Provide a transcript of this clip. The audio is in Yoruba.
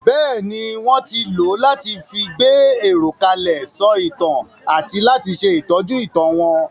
Bẹ́ẹ̀ni, wón ti lò ó láti fi gbé èrò kalẹ̀, sọ ìtàn àti láti ṣe ìtọ́jú ìtàn wọn.